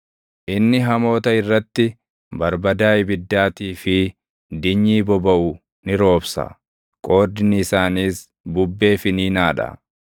Inni hamoota irratti, barbadaa ibiddaatii fi dinyii bobaʼu ni roobsa; qoodni isaaniis bubbee finiinaa dha.